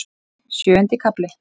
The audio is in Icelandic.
Sjöundi kafli